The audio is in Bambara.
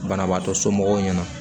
Banabaatɔ somɔgɔw ɲɛna